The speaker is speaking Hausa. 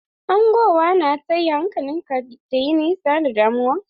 Hangowa na taya hankalin ka ta yi nesa da damuwa.